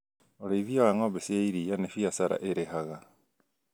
ũrĩithia wa ng'ombe cia iria nĩ biacara ĩrĩhaga